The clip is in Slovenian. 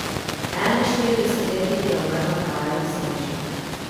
Enainštiridesetletnik je umrl na kraju nesreče.